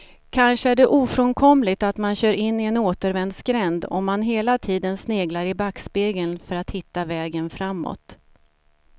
Kanske är det ofrånkomligt att man kör in i en återvändsgränd om man hela tiden sneglar i backspegeln för att hitta vägen framåt.